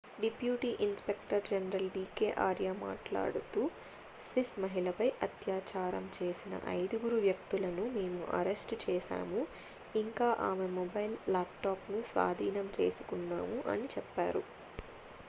"Deputy inspector general d k Arya మాట్లాడుతూ "Swiss మహిళపై అత్యాచారం చేసిన ఐదుగురు వ్యక్తులను మేము అరెస్టు చేసాము ఇంకా ఆమె మొబైల్ ల్యాప్‌టాప్‌ను స్వాధీనం చేసుకున్నాము" అని చెప్పారు.